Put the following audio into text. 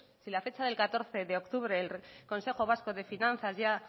si la fecha del catorce de octubre del consejo vasco de finanzas ya